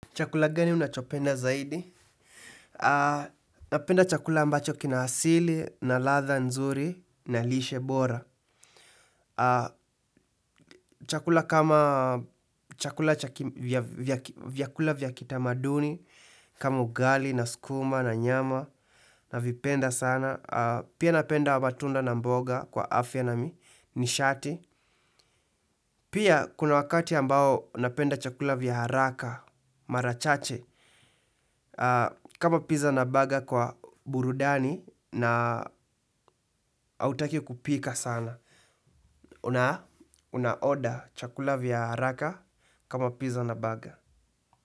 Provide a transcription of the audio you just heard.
Chakula gani unachopenda zaidi? Napenda chakula ambacho kina asili, na ladha nzuri, na lishe bora. Chakula kama vyakula vya kitamaduni, kama ugali, na sukuma, na nyama, navipenda sana. Pia napenda matunda na mboga kwa afya na nishati. Pia kuna wakati ambao napenda chakula vya haraka, mara chache. Kama pizza na burger kwa burudani na hautaki kupika sana unaorder chakula vya haraka kama pizza na burger.